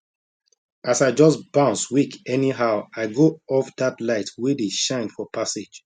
as i just bounce wake anyhow i go off that light wey dey shine for passage